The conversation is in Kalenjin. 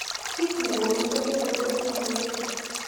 Kiit negonu frontal fibrosing alopecia